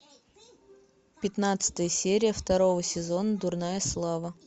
пятнадцатая серия второго сезона дурная слава